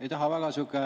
Ei taha väga